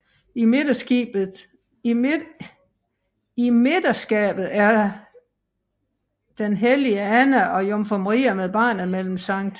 I midterskabet den hellige Anna og Jomfru Maria med barnet mellem Sct